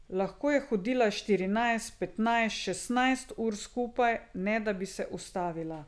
Lahko je hodila štirinajst, petnajst, šestnajst ur skupaj, ne da bi se ustavila.